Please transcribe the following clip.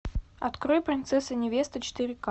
открой принцесса невеста четыре ка